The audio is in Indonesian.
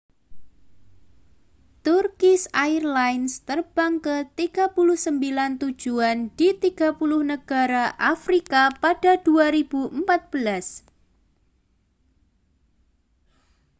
turkish airlines terbang ke 39 tujuan di 30 negara afrika pada 2014